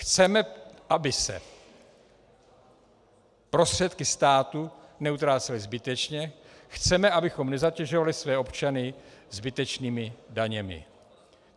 Chceme, aby se prostředky státu neutrácely zbytečně, chceme, abychom nezatěžovali své občany zbytečnými daněmi.